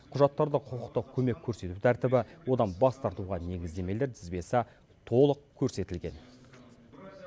құжаттарда құқықтық көмек көрсету тәртібі одан бас тартуға негіздемелер тізбесі толық көрсетілген